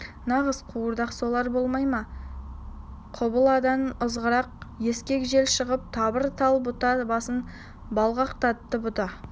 нағыз қуырдақ солар болмай ма құбыладан ызғырық ескек жел шығып тырбық тал бұта басын бұлғақтатты бұта